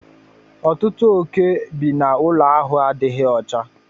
Ọtụtụ oke bi na ụlọ ahụ adịghị ọcha.